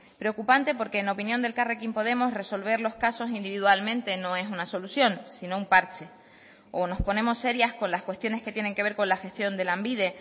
preocupante porque en opinión de elkarrekin podemos resolver los casos individualmente no es una solución sino un parche o nos ponemos serias con las cuestiones que tienen que ver con la gestión de lanbide